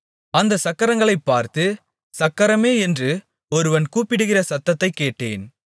அந்தச் சக்கரங்களைப் பார்த்து சக்கரமே என்று ஒருவன் கூப்பிடுகிற சத்தத்தைக் கேட்டேன்